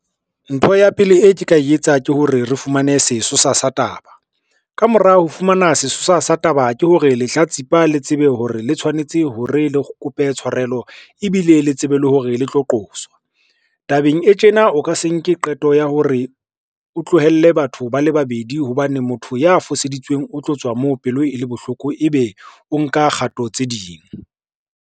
Ntho ya pele e ke tla e etsa ke hore re fumane sesosa sa taba, ka mora ho fumana sesosa sa taba ke hore lehlatsipa le tsebe hore le tshwanetse hore le kope tshwarelo ebile le tsebe le hore le tlo qoswa. Tabeng e tjena, o ka se nke qeto ya hore o tlohelle batho ba le babedi hobane motho ya foseditsweng o tlo tswa moo pelo e le bohloko, ebe o nka kgato tse ding.